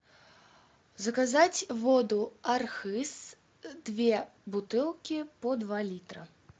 заказать воду архыз две бутылки по два литра